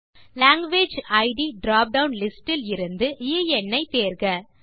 language ID dropdown list இலிருந்து என் ஐ தேர்க